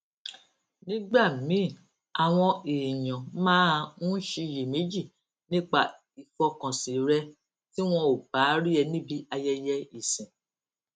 nígbà míì àwọn èèyàn máa ń ṣiyèméjì nípa ìfọkànsìn rẹ tí wọn ò bá rí ẹ níbi ayẹyẹ ìsìn